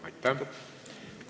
Aitäh!